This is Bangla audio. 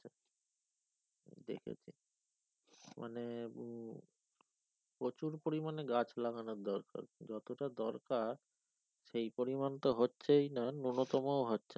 মানে প্রচুর পরিমাণে গাছ লাগানো দরকার যতটা দরকার সেই পরিমাণ তো হচ্ছেই না ন্যূনতম হচ্ছে না।